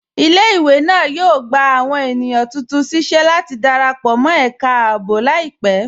Ilẹ̀-ìwé náà yóò gbà awọn ènìyàn tuntun síṣẹ̀ láti darapọ̀ mọ̀ ẹká ààbò laipẹ̀.